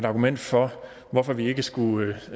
argument for at vi ikke skulle